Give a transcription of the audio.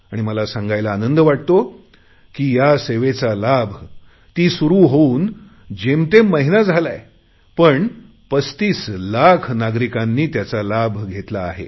आणि मला सांगायला आनंद वाटतो की या सेवेचा लाभ ती सुरु होऊन जेमतेम महिना झालाय पण 35 लाख नागरिकांनी त्याचा लाभ घेतला आहे